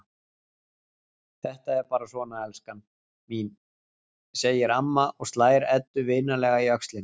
Þetta er bara svona, elskan mín, segir amma og slær Eddu vinalega á öxlina.